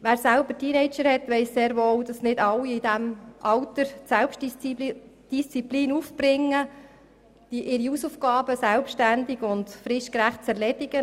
Wer selber Teenager zu Hause hat, weiss sehr wohl, dass nicht alle in diesem Alter die nötige Selbstdisziplin aufbringen, um ihre Hausaufgaben selbständig und fristgerecht zu erledigen.